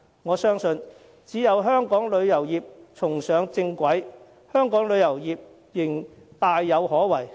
我相信只要香港旅遊業能夠重上正軌，香港旅遊業仍大有可為。